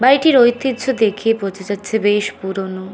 বাড়িটির ঐতিহ্য দেখে বোঝা যাচ্ছে বেশ পুরোনো।